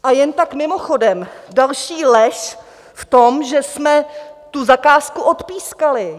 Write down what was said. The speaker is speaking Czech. A jen tak mimochodem, další lež v tom, že jsme tu zakázku odpískali.